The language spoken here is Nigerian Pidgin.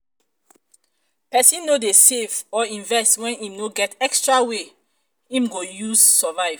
persin no de save or invest when im no get extra wey i'm go use survive